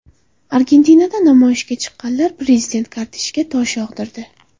Argentinada namoyishga chiqqanlar prezident kortejiga tosh yog‘dirdi.